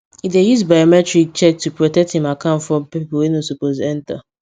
e dey use biometric check to protect im account from people wey no suppose enter